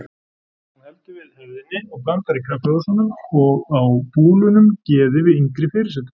Hún heldur við hefðinni og blandar í kaffihúsunum og á búlunum geði við yngri fyrirsætur.